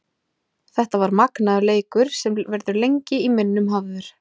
Þetta var magnaður leikur sem verður lengi í minnum hafður.